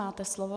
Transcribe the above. Máte slovo.